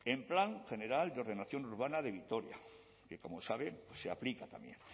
el plan general de ordenación urbana de vitoria que como saben se aplica también